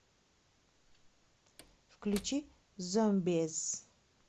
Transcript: включи зомбиз